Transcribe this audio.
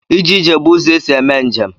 Ije ije bụ ụzọ esi eme njem.